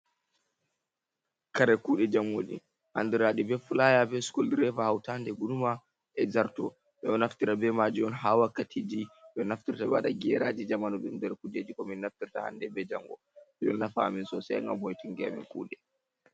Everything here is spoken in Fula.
Kare kuɗe jamgoji andiraɗi be Fulaya. be Suke direba hautade guruma e zarto.ɓe ɗo naftira be maji'on ha Wakkatiji ɓe nafturta be haɗa geraji jamanu nder Kujeji komin nafturta hande bei jango.ɗi ɗon nafa'amen Sosai ngam hoitinki'amen kuuɗe.